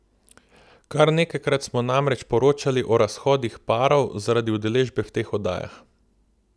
Kar nekajkrat smo namreč poročali o razhodih parov zaradi udeležbe v teh oddajah.